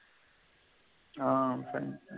ஆஹ் fantastic